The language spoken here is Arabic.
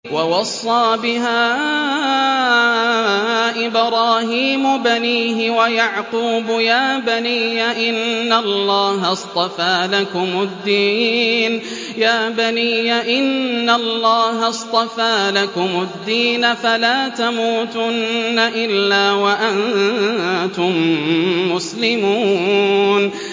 وَوَصَّىٰ بِهَا إِبْرَاهِيمُ بَنِيهِ وَيَعْقُوبُ يَا بَنِيَّ إِنَّ اللَّهَ اصْطَفَىٰ لَكُمُ الدِّينَ فَلَا تَمُوتُنَّ إِلَّا وَأَنتُم مُّسْلِمُونَ